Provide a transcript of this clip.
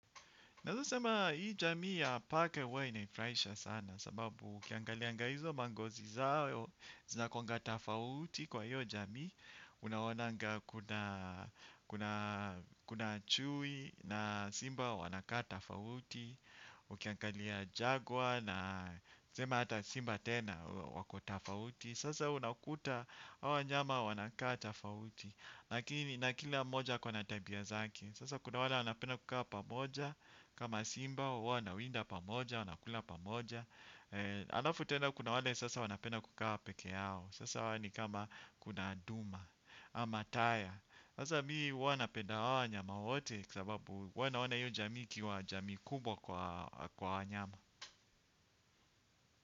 Naweza sema hii jamii ya paka huwa inanifurahisha sana sababu ukiangalianga hizo mangozi zao, zina kuanga tofauti kwa hiyo jamii. Unaonanga kuna chui na simba wanakaa tofauti, ukiangalia Jaguar na tuseme hata simba tena wako tofauti. Sasa unakuta hawa wanyama wanaka tofauti. Lakini na kila mmoha ako na tabia zake. Sasa kuna wale wanapenda kukaa pamoja, kama simba huwa wanawinda pamoja, wanakula pamoja. Alafu tena kuna wale sasa wanapenda kukaa pekee yao, sasa wale ni kama kuna Nduma, ama taya, sasa mimi huwa napenda hawa nyama wote kwa sababu huwa naona hiyo jamii ikiwa jamii kubwa kwa wanyama.